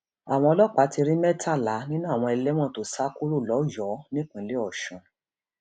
àwọn ọlọpàá ti rí mẹtàlá nínú àwọn ẹlẹwọn tó sá kúrò lọyọọ nípínlẹ ọsùn